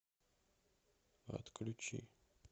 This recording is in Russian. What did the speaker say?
отключи